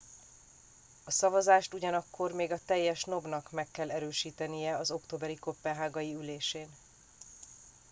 a szavazást ugyanakkor még a teljes nob nak meg kell erősítenie az októberi koppenhágai ülésén